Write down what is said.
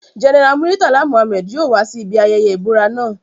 General Muritala Mohammed yoo wa si ibi ayẹyẹ ibura naa